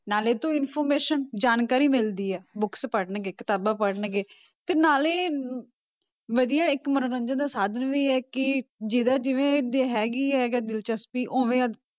ਨਾਲੇ ਤਾਂ information ਜਾਣਕਾਰੀ ਮਿਲਦੀ ਹੈ books ਪੜ੍ਹਣਗੇ ਕਿਤਾਬਾਂ ਪੜ੍ਹਣਗੇ, ਤੇ ਨਾਲੇ ਵਧੀਆ ਇੱਕ ਮੰਨੋਰੰਜਨ ਦਾ ਸਾਧਨ ਵੀ ਹੈ ਕਿ ਜਿਹਦਾ ਜਿਵੇਂ ਵੀ ਹੈਗੀ ਹੈਗਾ ਦਿਲਚਸਪੀ ਉਵੇਂ